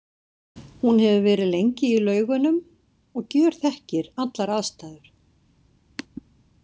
Hún hefur verið lengi í Laugunum og gjörþekkir allar aðstæður.